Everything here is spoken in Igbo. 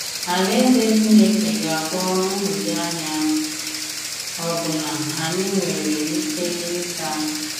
Àlàèzè Chìnékè ga-agwọ nhụjuanya ọ̀bụ̀la ànyị̀ nwere ìkè ịtà.